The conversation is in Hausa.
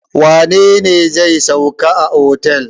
Wane ne zai sauka a otel?